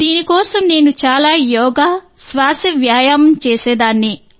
దీని కోసం నేను చాలా యోగా శ్వాస వ్యాయామం చేసేదాన్ని